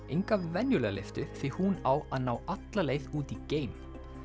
enga venjulega lyftu því hún á að ná alla leið út í geim